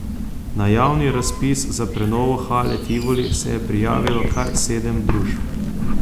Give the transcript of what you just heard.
Na javni razpis za prenovo Hale Tivoli se je prijavilo kar sedem družb.